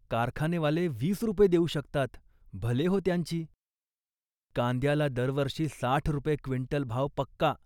" कारखानेवाले वीस रुपये देऊ शकतात, भले हो त्यांची. कांद्याला दरवर्षी साठ रुपये क्विंटल भाव पक्का